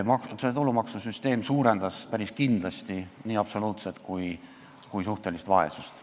See tulumaksusüsteem suurendas päris kindlasti nii absoluutset kui ka suhtelist vaesust.